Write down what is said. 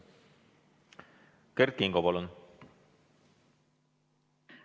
Kert Kingo, palun!